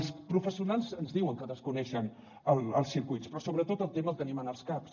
els professionals ens diuen que desconeixen els circuits però sobretot el tema el tenim en els caps